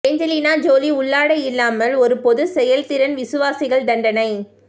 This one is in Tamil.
ஏஞ்சலினா ஜோலி உள்ளாடை இல்லாமல் ஒரு பொது செயல்திறன் விசுவாசிகள் தண்டனை